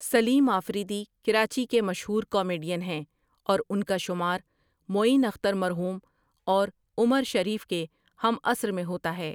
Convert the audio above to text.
سلیم آفریدی کراچی کے مشہور کامیڈین ہیں اور ان کا شمار معین اختر مرحوم اور عمر شریف کے ہم عصر میں ہوتا ہے ۔